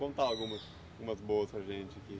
Conta algumas umas boas para a gente aqui.